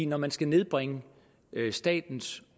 når man skal nedbringe statens